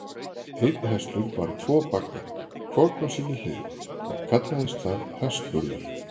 Einn hestur bar tvo bagga, hvorn á sinni hlið, og kallaðist það hestburður.